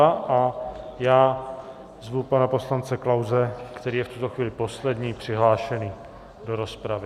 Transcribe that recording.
A já zvu pana poslance Klause, který je v tuto chvíli poslední přihlášený do rozpravy.